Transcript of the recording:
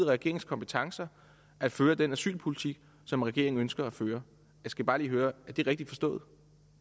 regeringens kompetencer at føre den asylpolitik som regeringen ønsker at føre jeg skal bare lige høre er det rigtigt forstået